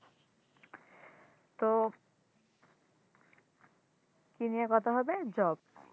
তো কি নিয়ে কথা হবে? Job